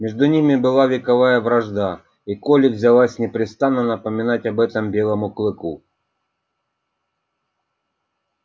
между ними была вековая вражда и колли взялась непрестанно напоминать об этом белому клыку